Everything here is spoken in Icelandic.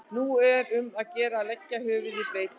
Nú er um að gera að leggja höfuðið í bleyti.